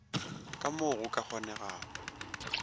ka mo go ka kgonegago